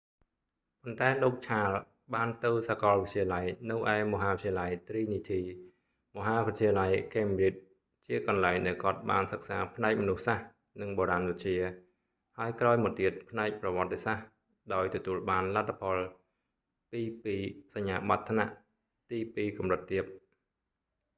ប៉ុន្តែលោក ឆាល charles បានទៅសាកលវិទ្យាល័យនៅឯមហាវិទ្យាល័យទ្រីនីធី trinity college មហាវិទ្យាល័យ ខេមប្រ៊ីជ cambridge ជាកន្លែងដែលគាត់បានសិក្សាផ្នែកមនុស្សសាស្ត្រ និងបុរាណវិទ្យា ហើយក្រោយមកទៀតផ្នែកប្រវត្តិសាស្ត្រ ដោយទទួលបានលទ្ធផល 2:2 សញ្ញាបត្រថ្នាក់ ទីពីរកម្រិតទាប